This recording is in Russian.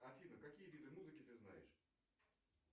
афина какие виды музыки ты знаешь